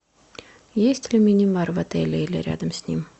есть ли мини бар в отеле или рядом с ним